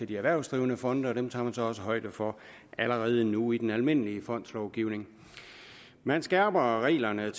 de erhvervsdrivende fonde og dem tager man så også højde for allerede nu i den almindelige fondslovgivning man skærper reglerne